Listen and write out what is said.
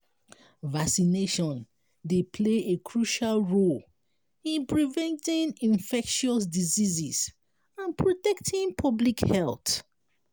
vaccination dey play a crucial role in preventing infectious diseases and protecting public health.